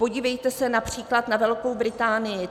Podívejte se například na Velkou Británii.